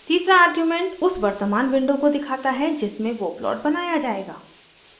तीसरा आर्ग्यूमेंट उस वर्तमान विंडो को दिखाता है जिसमें वो प्लॉट बनाया जायेगा